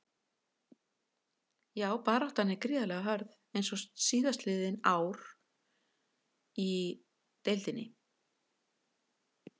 Já baráttan er gríðarlega hörð eins og síðastliðin ár í deildinni.